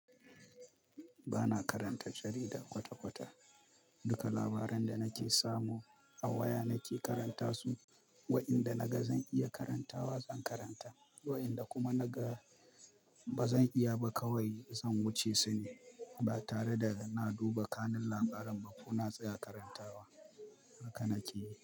Ba na karanta jarida kwata-kwata. Duka labaran da nake samu a waya nake karanta su. Wa'inda naga zan iya karantawa, zan karanta, wa'inda kuma naga ba zan iya ba kawai zan wuce su ne. Ba tare da na duba kanun labaren ba kuna tsaya karantawa. Haka na ke yi.